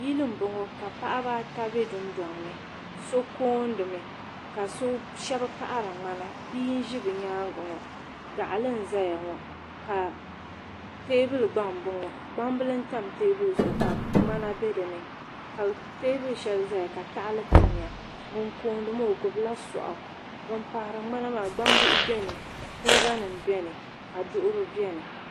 Yili m-bɔŋɔ ka paɣiba ata be dundɔŋ ni so koondimi ka shɛba paɣiri ŋmana bia n-ʒi bɛ nyaaŋa ŋɔ gaɣili n-zaya ŋɔ ka teebuli gba m -bɔŋɔ gbambili n-tam teebuli zuɣu ka ŋmana be dini teebuli shɛli zaya ka tahili tamya ŋun kooni maa o gbubila sɔɣu ŋun paɣiri ŋmana maa gbambihi beni kuriganima beni ka duɣiri beni.